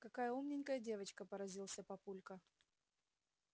какая умненькая девочка поразился папулька